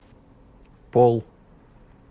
пол